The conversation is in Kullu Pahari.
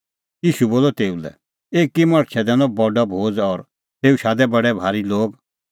ईशू बोलअ तेऊ लै एकी मणछै दैनअ बडअ भोज़ और तेऊ शादै बडै भारी लोग